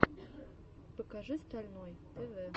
покажи стальной тв